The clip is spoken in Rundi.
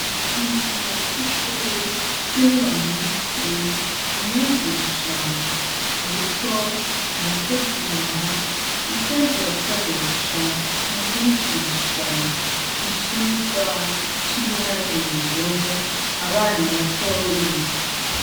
Mwisomero ryishure ryibura munsi umwigisha ariko arategura ivyo azokoresha mukwigisha icigwa cibiharuro abana batoyi.